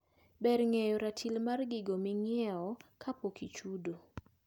Ber ng`eyo ratil mar gigo mainyiewo kapok ichudo.